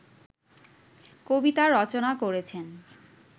কবিতা রচনা করেছেন